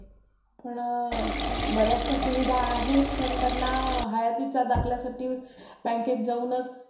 काय शाळेत कसं सगळेच class करावे लागतात कि.